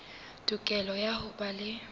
tokelo ya ho ba le